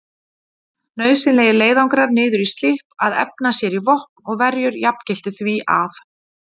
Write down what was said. Nauðsynlegir leiðangrar niður í Slipp að efna sér í vopn og verjur jafngiltu því að